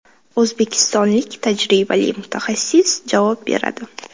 O‘zbekistonlik tajribali mutaxassis javob beradi.